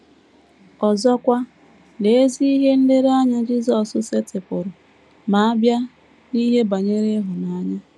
Ọzọkwa, lee ezi ihe nlereanya Jisọs setịpụrụ ma a bịa n’ihe banyere ịhụnanya!